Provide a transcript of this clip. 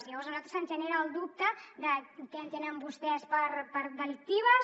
llavors a nosaltres se’ns genera el dubte de què entenen vostès per delictives